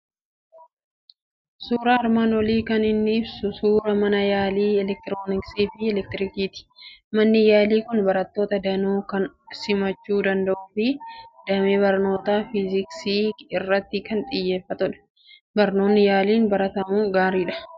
Suuraan armaan olii kan inni ibsu suuraa mana yaalii elektirooniksii fi elektirikiiti. Manni yaalii kun barattoota danuu kan simachuu danda'uu fi damee barnoota Fiisiksii irratti kan xiyyeeffatedha. Barnoonni yaaliin baratamu gaariidha.